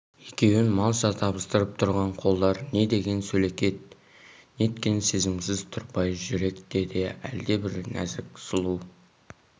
екеуін малша табыстырып тұрған қолдар не деген сөлекет неткен сезімсіз тұрпайы жүректе де әлдебір нәзік сұлу